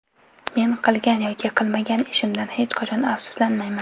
Men qilgan yoki qilmagan ishimdan hech qachon afsuslanmayman”.